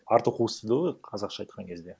арты қуыс дейді ғой қазақша айтқан кезде